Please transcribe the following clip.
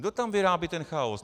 Kdo tam vyrábí ten chaos?